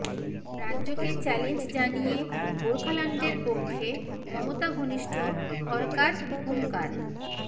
রাজ্যকে চ্যালেঞ্জ জানিয়ে গোর্খাল্যান্ডের পক্ষে মমতা ঘনিষ্ঠ হরকার হুঙ্কার